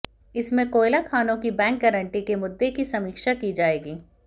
इसमें कोयला खानों की बैंक गारंटी के मुद्दे की समीक्षा की जाएगी